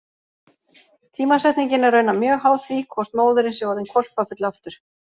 Tímasetningin er raunar mjög háð því hvort móðirin sé orðin hvolpafull aftur.